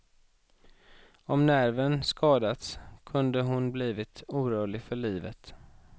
Om nerven skadats kunde hon blivit orörlig för livet.